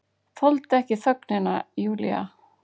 Þoldi ekki þögnina, Júlía.